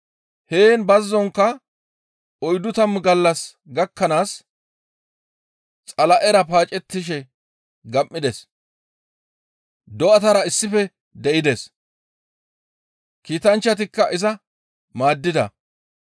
Heen bazzonkka oyddu tammu gallas gakkanaas Xala7era paacettishe gam7ides; do7atara issife de7ides; kiitanchchatikka iza maaddida.